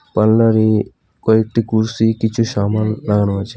পার্লারে কয়েকটি কুরসি কিছু সামান লাগানো আছে।